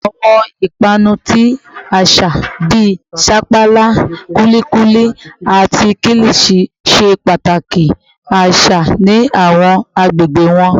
Awọn ipanu ti aṣa bii sapala, kulikuli, ati kilichi ṣe pataki aṣa ni awọn agbegbe wọn